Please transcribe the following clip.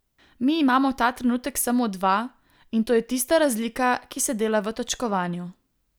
Mi imamo ta trenutek samo dva, in to je tista razlika, ki se dela v točkovanju.